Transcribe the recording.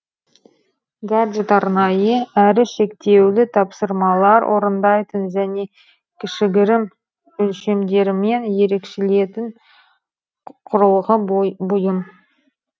гаджет арнайы әрі шектеулі тапсырмалар орындайтын және кішігірім өлшемдермен ерекшеленетін құрылғы бұйым